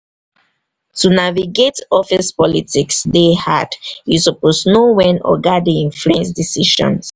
to navigate office politics dey hard you suppose know wen "oga" dey influence decisions.